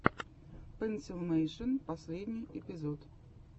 пенсилмэйшен последний эпизод